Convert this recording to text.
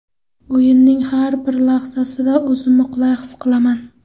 O‘yinning har bir lahzasida o‘zimni qulay his qilaman.